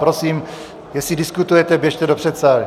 Prosím, jestli diskutujete, běžte do předsálí.